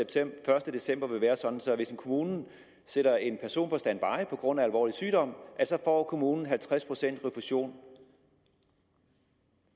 den første december vil være sådan at hvis kommunen sætter en person på standby på grund af alvorlig sygdom får kommunen halvtreds pcts refusion